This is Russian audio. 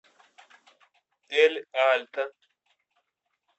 эль альто